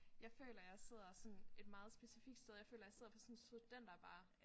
Jeg føler jeg sidder sådan et meget specifikt sted jeg føler jeg sidder på sådan en studenterbar